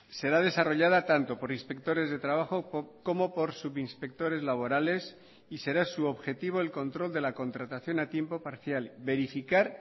será desarrollada tanto por inspectores de trabajo como por subinspectores laborales y será su objetivo el control de la contratación a tiempo parcial verificar